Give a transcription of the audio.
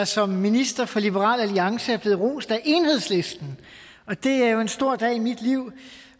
som minister fra liberal alliance er blevet rost af enhedslisten det er jo en stor dag i mit liv